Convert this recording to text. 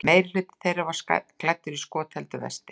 Meirihluti þeirra var klæddur skotheldu vesti